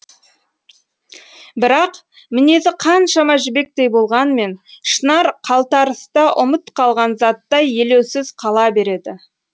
бірақ мінезі қаншама жібектей болғанмен шынар қалтарыста ұмыт қалған заттай елеусіз қала береді